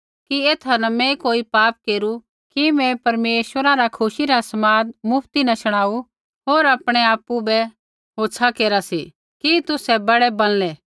कि ऐथा न मैं कोई पाप केरू कि मैं तुसाबै परमेश्वरै रा खुशी रा समाद मुफ्ती न शुणाऊ होर आपणै आपु बै होछ़ा केरा सी कि तुसै बड़ै बणलै